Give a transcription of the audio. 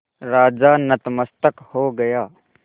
राजा नतमस्तक हो गया